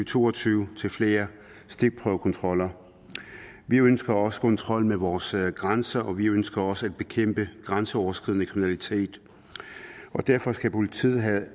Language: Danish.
to og tyve til flere stikprøvekontroller vi ønsker også kontrol med vores grænser og vi ønsker også at bekæmpe grænseoverskridende kriminalitet derfor skal politiet have